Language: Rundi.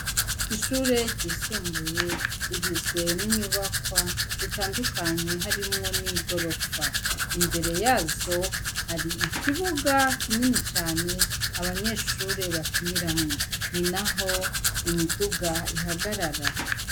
Ishure ryisumbuye rigizwe n'inyubakwa zitandukanye harimwo n'i gorofa imbere yazo hari ikibuga kinini cane abanyeshure bakiniramwo ni na ho imiduga ihagarara.